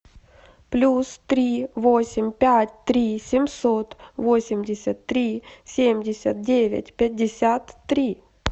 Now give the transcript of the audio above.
плюс три восемь пять три семьсот восемьдесят три семьдесят девять пятьдесят три